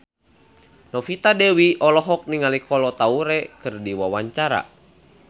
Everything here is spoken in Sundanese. Novita Dewi olohok ningali Kolo Taure keur diwawancara